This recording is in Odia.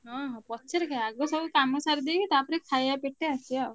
ହଁ ପଛରେ କାଇଁ ଆଗ ସବୁ କାମ ସାରିଦେଇକି ତାପରେ ଖାୟା ପେଟେ ଆସିଆ ଆଉ।